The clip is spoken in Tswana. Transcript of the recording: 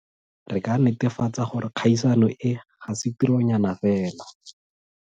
Re ka netefatsa gore kgaisano e ga se tironyana fela.